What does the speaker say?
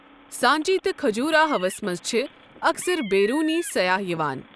سانچی تہٕ کھجوراہوَس منٛز چھِ اکثر بیرونی سیاح یِوان۔